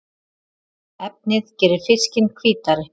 Efnið gerir fiskinn hvítari